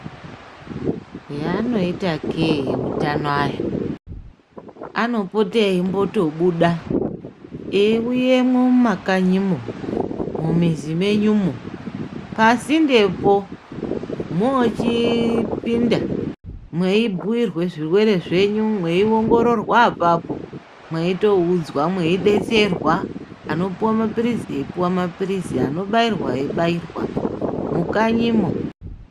Zvaanoitakee veutano aya, anopote eitombobuda eiuya mumakanyimo, mumizi menyumo, pasindepo mochipinda mweibhuirwa zverwere zvenyu meiongororwa apapo mweitoudzwa mweidetserwa, anopiwa mapirizi eipuwa mapirizi anobairwa eibairwa mukanyimo